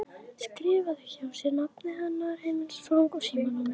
Skrifar hjá sér nafnið hennar, heimilisfangið og símanúmerið.